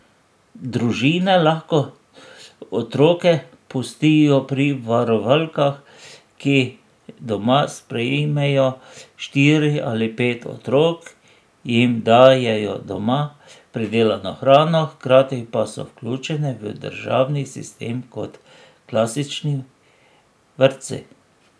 Družine lahko otroke pustijo pri varovalkah, ki doma sprejmejo štiri ali pet otrok, jim dajejo doma pridelano hrano, hkrati pa so vključene v državni sistem kot klasični vrtci.